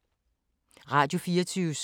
Radio24syv